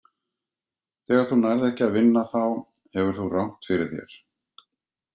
Þegar þú nærð ekki að vinna þá hefur þú rangt fyrir þér.